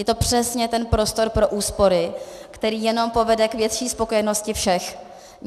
Je to přesně ten prostor pro úspory, který jenom povede k větší spokojenosti všech.